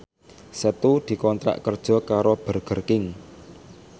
Setu dikontrak kerja karo Burger King